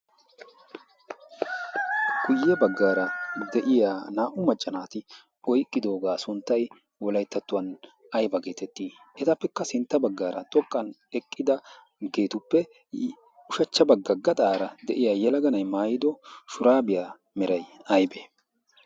ya bagaara deya naa'u macca naaati oyqqidooga sunttay ayba geetetii? etappekka sinta bagaara xoqan eqqidaagetuppe ushacha bagaarsa diya yelaga na'ay maayido shuraabiya suntay aybee?